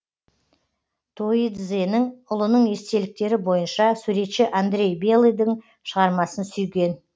тоидзенің ұлының естеліктері бойынша суретші андрей белыйдың шығармасын сүйген